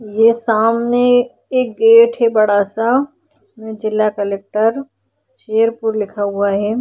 ये सामने एक गेट है बड़ा सा जिसमें जिल्हा कलेक्टर शेरपुर लिखा हुआ है।